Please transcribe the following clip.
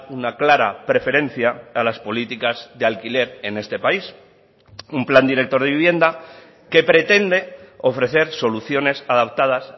una clara preferencia a las políticas de alquiler en este país un plan director de vivienda que pretende ofrecer soluciones adaptadas